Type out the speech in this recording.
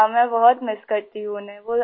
ہاں ، بہت مِس کرتی ہوں ، انہیں